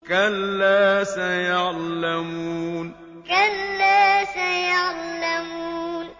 كَلَّا سَيَعْلَمُونَ كَلَّا سَيَعْلَمُونَ